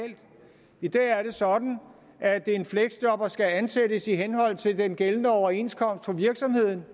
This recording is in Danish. i dag er det sådan at en fleksjobber skal ansættes i henhold til den gældende overenskomst for virksomheden